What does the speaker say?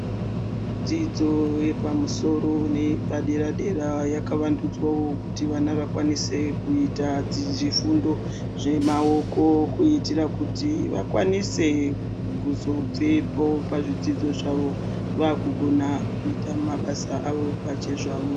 Dzidzo yepamusoro neyepadera-dera yakavandudzwawo kuti vana vakwanise kuita zvifundo zvemaoko kuitira kuti vakwanise kuzobvepo pazvidzidzo zvavo vaakugona kuita mabasa avo pachezvavo.